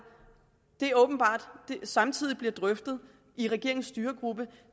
åbenbart samtidig bliver drøftet i regeringens styregruppe